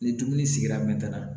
Ni dumuni sigira